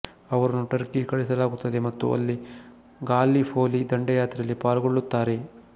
ಅವರನ್ನು ಟರ್ಕಿಗೆ ಕಳಿಸಲಾಗುತ್ತದೆ ಮತ್ತು ಅಲ್ಲಿ ಗಾಲ್ಲಿಪೊಲಿ ದಂಡಯಾತ್ರೆಯಲ್ಲಿ ಪಾಲ್ಗೊಳ್ಳುತ್ತಾರೆ